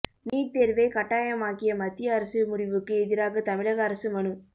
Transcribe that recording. NEET தேர்வை கட்டாயமாக்கிய மத்திய அரசு முடிவுக்கு எதிராக தமிழக அரசு மனு